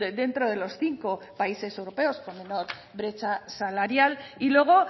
dentro de los cinco países europeos con menor brecha salarial y luego